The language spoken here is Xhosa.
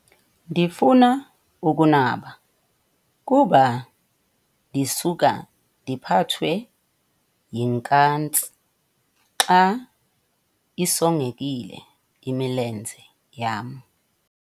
Ndifuna ukunaba kuba ndisuka ndiphathwe yinkantsi xa isongekile imilenze yam.